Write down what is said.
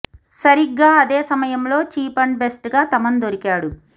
సరిగ్గా అదే సమయంలో చీఫ్ అండ్ బెస్ట్ గా తమన్ దొరికాడు